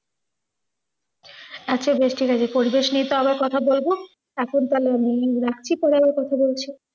আচ্ছা, বেশ ঠিকাছে। পরিবেশ নিইয়ে তো আবার কথা বলব। এখন তালে আমি রাখছি, পরে আবার কথা বলছি।